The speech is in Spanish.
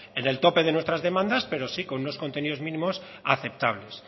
en el tope de nuestras demandas pero sí con unos contenidos mínimos aceptables